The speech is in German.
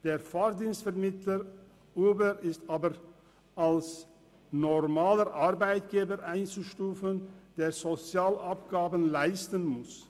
Der Fahrdienstvermittler Uber ist aber als normaler Arbeitgeber einzustufen, der Sozialabgaben leisten muss.